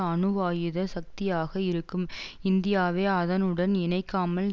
அணுவாயுத சக்தியாக இருக்கும் இந்தியாவை அதனுடன் இணைக்காமல்